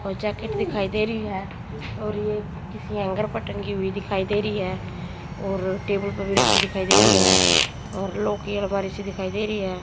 और जैकेट दिखाई दे रही है और ये किसी हैंगर पर टंगी हुई दिखाई दे रही है और टेबल पर भी रखी दिखाई दे रही है और सी दिखाई दे रही है।